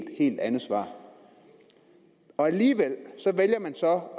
helt andet svar alligevel vælger man så